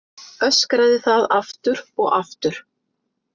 Öskraði það aftur og aftur.